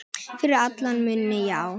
Fyrir alla muni, já.